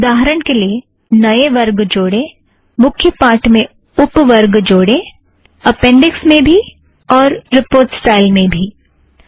उदाहरण के लिए - नए वर्ग जोड़ें मुख्य पाठ में उप वर्ग जोड़ें अपेंड़िक्स में भी और रिपोर्ट स्टाईल में भी